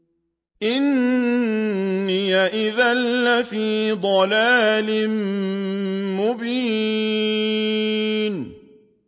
إِنِّي إِذًا لَّفِي ضَلَالٍ مُّبِينٍ